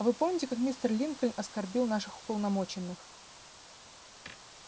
а вы помните как мистер линкольн оскорбил наших уполномоченных